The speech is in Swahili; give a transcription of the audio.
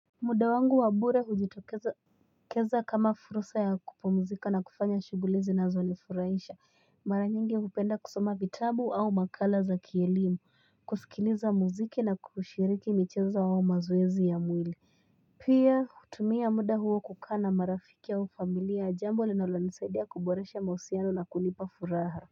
Muda wangu wabure hujitokeza kama furusa ya kupomzika na kufanya shugulizi na zonifuraisha mara nyingi kupenda kusoma vitambu au makala za kielimu kusikiliza muziki na kushiriki micheza wa mazuwezi ya mwili Pia kutumia muda huo kukana marafiki ya ufamilia jambo linaulani saidiya kuboresha mausiano na kulipa furaha.